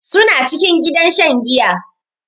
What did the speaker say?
Su na cikin gidan shan giya.